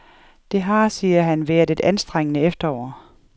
Det har, siger han, været et anstrengende efterår.